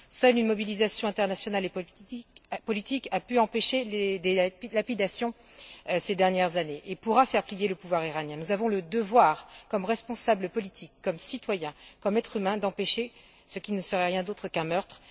Seule une mobilisation internationale et politique a pu empêcher des lapidations ces dernières années et pourra faire plier le pouvoir iranien. Nous avons le devoir, comme responsables politiques, comme citoyens, comme êtres humains, d'empêcher ce qui ne serait rien d'autre qu'un meurtre.